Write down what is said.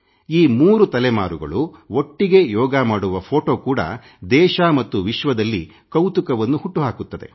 ಈ 3 ತಲೆಮಾರುಗಳು ಒಟ್ಟಿಗೇ ಯೋಗ ಮಾಡುವ ಫೋಟೊ ಕೂಡ ದೇಶ ಮತ್ತು ವಿಶ್ವದಲ್ಲಿ ಕೌತುಕವನ್ನು ಹುಟ್ಟುಹಾಕುತ್ತದೆ